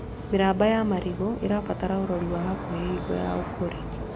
Mĩramba ya marigũ ĩbataraga ũrori wa hakuhĩ hingo ya ũkũri